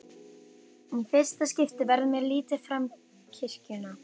Í fyrsta skipti verður mér litið fram kirkjuna.